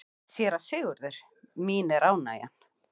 SÉRA SIGURÐUR: Mín er ánægjan.